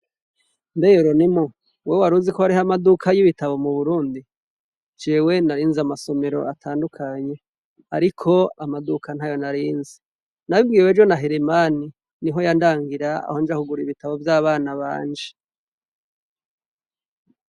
Mbe Yoronimu, wewe war uzi ko wariho amaduka y'ibitabo mu Burundi ? Jewe nari nzi amasomero atandukanye ariko amaduka ntayo nari nzi . Nabibwiwe ejo na Heremani niho yandangira aho nja kugura ibitabo vy'abana banje.